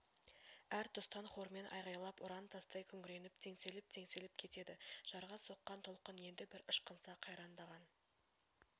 әр тұстан хормен айғайлап ұран тастай күңіреніп теңселіп-теңселіп кетеді жарға соққан толқын енді бір ышқынса қайрандаған